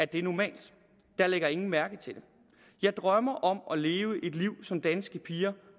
det normalt der lægger ingen mærke til det jeg drømmer om at leve et liv som danske piger